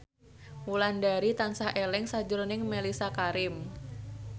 Wulandari tansah eling sakjroning Mellisa Karim